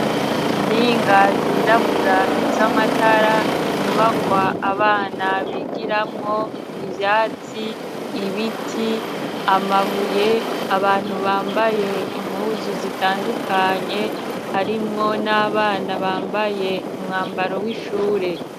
Mtinga zirabura z'amatara inyubakwa abana bigiramwo ivyatsi ibiti amabuye abantu bambaye impuzu zitandukanye arimwo n'abana bambaye umwambaro w'ishure.